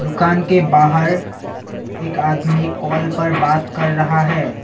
दुकान के बाहर एक आदमी कॉल पर बात कर रहा है।